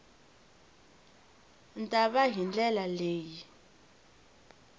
ta va hi ndlela leyi